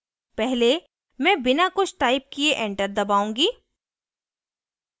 पहले मैं बिना कुछ टाइप किये enter दबाऊँगी